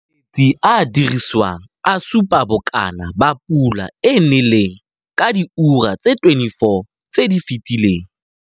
Metsi a a diriswang a supa bokana ba pula e e neleng ka diura tse 24 tse di fetileng.